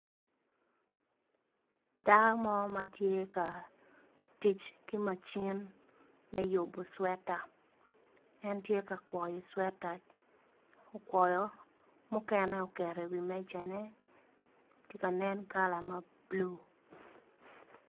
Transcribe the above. Dako mo ma tye ka tic ki macin me yubo cwetta, en tye ka kwoyo cwetta, okwoyo mukene oketo i wi mejane ti nen kala mabulu.